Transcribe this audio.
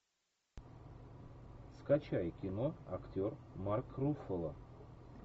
скачай кино актер марк руффало